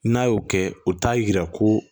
N'a y'o kɛ o t'a yira ko